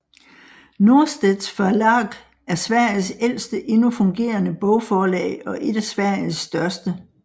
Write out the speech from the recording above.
Norstedts förlag er Sveriges ældste endnu fungerende bogforlag og et af Sveriges største